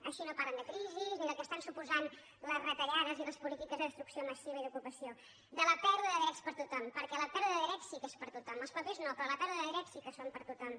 així no parlen de crisi ni del que es·tan suposant les retallades i les polítiques de destruc·ció massiva d’ocupació de la pèrdua de drets per a tot·hom perquè la pèrdua de drets sí que és per a tothom els papers no però la pèrdua de drets sí que són per a tothom